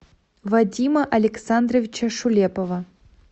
вадима александровича шулепова